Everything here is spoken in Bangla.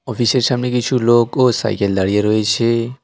অফিসের সামনে কিছু লোক ও সাইকেল দাড়িয়ে রয়েছে।